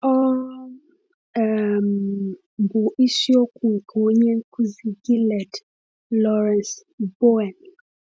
Ọ um bụ isiokwu nke onye nkuzi Gilead, Lawrence Bowen.